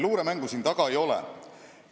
Luuremängu siin taga ei ole.